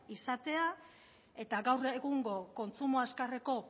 izatea eta gaur egungo kontsumo azkarreko